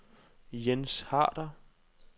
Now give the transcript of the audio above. Jens Harder